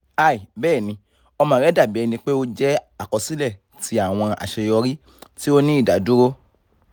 hi bẹẹni ọmọ rẹ dabi ẹnipe o jẹ akọsilẹ ti awọn aṣeyọri ti o ni idaduro slash c